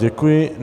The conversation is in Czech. Děkuji.